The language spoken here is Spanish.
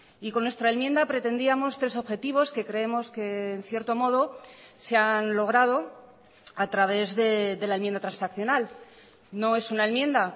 y con nuestra enmienda pretendíamos tres objetivos que creemos que en cierto modo se han logrado a través de la enmienda transaccional no es una enmienda